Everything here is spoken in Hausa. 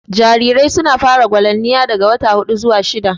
Jarirai su na fara gwalamniya daga wata huɗu zuwa shidda